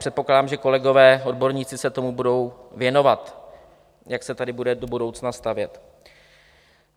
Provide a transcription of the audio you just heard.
Předpokládám, že kolegové odborníci se tomu budou věnovat, jak se tady bude do budoucna stavět.